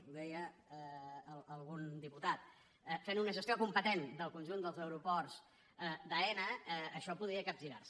ho deia algun diputat fent una gestió competent del conjunt dels aeroports d’aena això podria capgirar se